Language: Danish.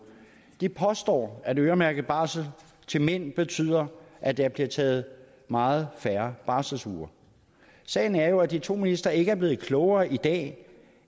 de påstår at øremærket barsel til mænd betyder at der bliver taget meget færre barselsuger sagen er jo at de to ministre ikke er blevet klogere i dag